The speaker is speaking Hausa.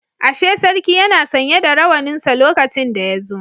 Ashe sarki yana sanye da rawaninsa lokacin da yazo